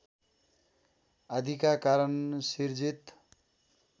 आदिका कारण सिर्जित